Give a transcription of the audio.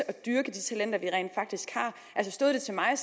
og dyrke de talenter vi rent faktisk har stod det til mig